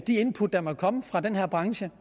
de input der måtte komme fra den her branche